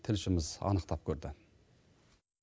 тілшіміз анықтап көрді